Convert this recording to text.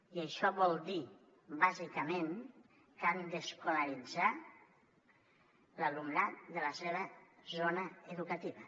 i això vol dir bàsicament que han d’escolaritzar l’alumnat de la seva zona educativa